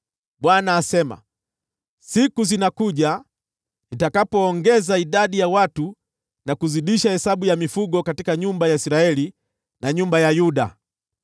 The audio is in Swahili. Bwana asema, “Siku zinakuja, nitakapoongeza idadi ya watu, na kuzidisha hesabu ya mifugo katika nyumba ya Israeli na nyumba ya Yuda.